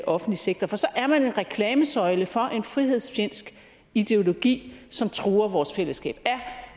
offentlige sektor for så er man en reklamesøjle for en frihedsfjendsk ideologi som truer vores fællesskab